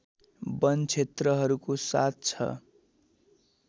वन क्षेत्रहरूको साथ छ